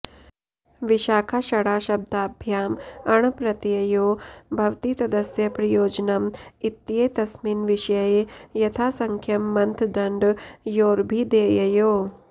विशाखाषढाशब्दाभ्याम् अण् प्रत्ययो भवति तदस्य प्रयोजनम् इत्येतस्मिन् विषये यथासङ्ख्यम् मन्थदण्डयोरभिधेययोः